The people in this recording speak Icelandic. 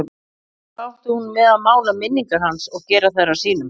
Hvað átti hún með að mála minningar hans og gera þær að sínum?